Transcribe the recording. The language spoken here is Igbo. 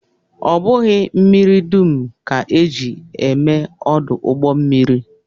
Ọ bụghị mmiri dum ka e ji eme ọdụ ụgbọmmiri